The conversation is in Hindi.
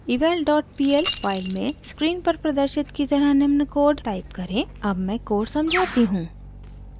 eval dot pl फाइल में स्क्रीन पर प्रदर्शित की तरह निम्न कोड टाइप करें अब मैं कोड समझाती हूँ